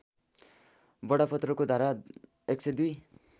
बडापत्रको धारा १०२